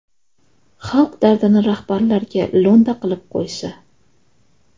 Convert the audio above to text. Xalq dardini rahbarlarga lo‘nda qilib qo‘ysa.